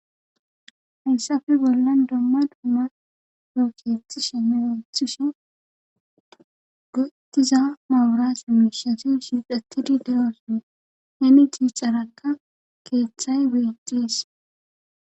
hayssafe bollan domma dumma profeti she meyothushe gotiza mawurasuumishasu shiixatidi de7oson hemi jiicarakka keeththay weeqxees